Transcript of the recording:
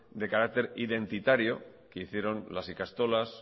de carácter identitario que hicieron las ikastolas